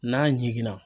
N'a jiginna